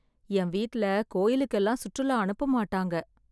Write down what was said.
என் வீட்டில கோயிலுக்கெல்லாம் சுற்றுலா அனுப்ப மாட்டாங்க